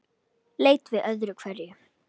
Leit við öðru hverju.